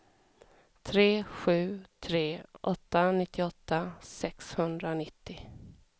tre sju tre åtta nittioåtta sexhundranittio